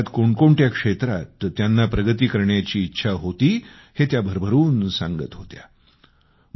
आयुष्यात कोण कोणत्या क्षेत्रात त्यांना प्रगती करण्याची इच्छा आहे हे त्या भरभरून सांगत होत्या